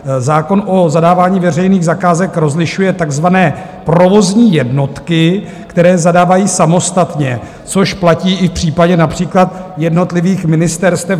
Zákon o zadávání veřejných zakázek rozlišuje takzvané provozní jednotky, které zadávají samostatně, což platí i v případě například jednotlivých ministerstev.